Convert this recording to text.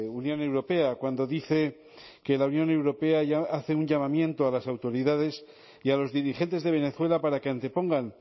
unión europea cuando dice que la unión europea ya hace un llamamiento a las autoridades y a los dirigentes de venezuela para que antepongan